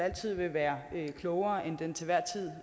altid vil være klogere end den til